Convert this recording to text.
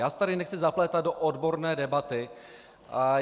Já se tady nechci zaplétat do odborné debaty.